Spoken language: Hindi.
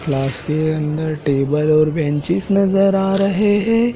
क्लास के अंदर टेबल और बेंचेज नजर आ रहे है।